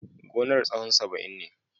Gonar tsahon saba'in ne.